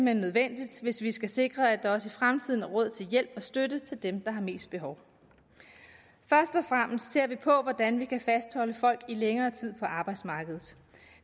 hen nødvendigt hvis vi skal sikre at der også i fremtiden er råd til hjælp og støtte til dem der har mest behov først og fremmest ser vi på hvordan vi kan fastholde folk i længere tid på arbejdsmarkedet